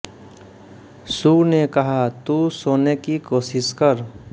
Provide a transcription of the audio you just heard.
सू ने कहा तू सोने की कोशिश कर